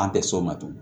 An tɛ s'o ma tugun